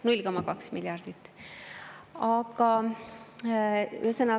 0,2 miljardit!